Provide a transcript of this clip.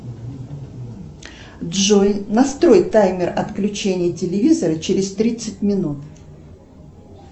джой настрой таймер отключения телевизора через тридцать минут